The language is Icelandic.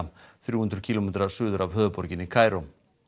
þrjú hundruð kílómetra suður af höfuðborginni Kaíró